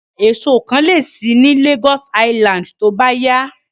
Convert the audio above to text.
Ọjà èso kan lè ṣí ní Lagos Island tó bá yá